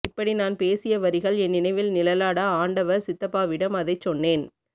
இப்படி நான் பேசிய வரிகள் என் நினைவில் நிழலாட ஆண்டவர் சித்தப்பாவிடம் அதைச் சொன்னேன்